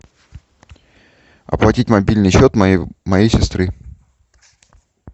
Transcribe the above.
оплатить мобильный счет моей сестры